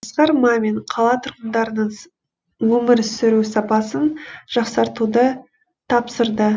асқар мамин қала тұрғындарының өмір сүру сапасын жақсартуды тапсырды